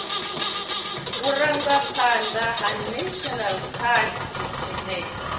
vhurangaphanḓa ha national party he